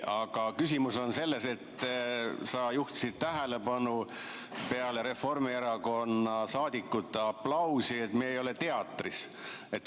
Aga küsimus on selles, et sa juhtisid tähelepanu peale Reformierakonna liikmete aplausi, et me ei ole teatris.